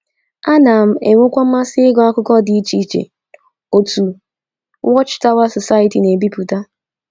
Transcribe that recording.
Ana m enwekwa mmasị ịgụ akwụkwọ dị iche iche otu Watch Tower Society na - ebipụta.